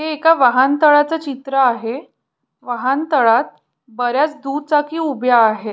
हे एका वाहनतळाच चित्र आहे वाहन तळात बऱ्याच दुचाकी उभ्या आहे.